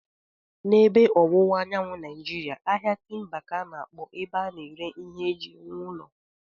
N'ebe Ọwụwa Anyanwụ Naịjiria, ahịa timba ka a na-akpọ ebe a na-ere ihe eji ewu ụlọ.